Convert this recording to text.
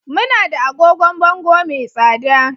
Muna da agogon bango mai tsada